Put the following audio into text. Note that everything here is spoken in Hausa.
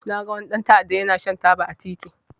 Na ga wani dan ta'adda ya na shan taba a titi